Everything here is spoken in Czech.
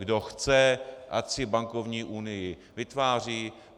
Kdo chce, ať si bankovní unii vytváří.